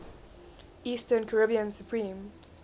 eastern caribbean supreme